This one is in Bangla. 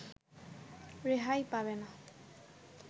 রেহাই পাবে না